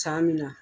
San min na